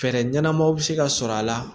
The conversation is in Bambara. Fɛɛrɛ ɲɛnamaw bɛ se ka sɔrɔ a la